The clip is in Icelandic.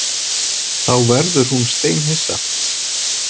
Þá verður hún steinhissa.